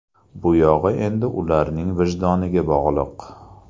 Bu yog‘i endi ularning vijdoniga bog‘liq.